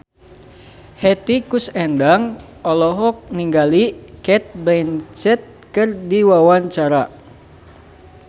Hetty Koes Endang olohok ningali Cate Blanchett keur diwawancara